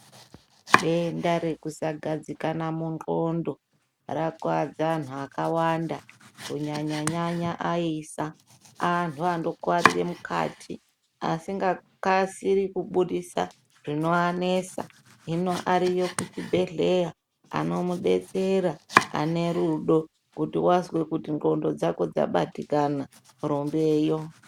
Denda rekusagadzikana mundxondo rakuwadza antu akawanda kunyanya nyanya aisa antu anokuwarira mukati asinga kasiri kubusi zvinoanesa hino ariyo kuzvibhedhlera amudetsera ane rudo kuti wazwe kuti ndxondo dzako dzabatikana rumbeyo.